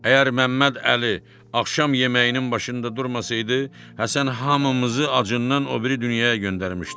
Əgər Məmmədəli axşam yeməyinin başında durmasaydı, Həsən hamımızı acından o biri dünyaya göndərmişdi.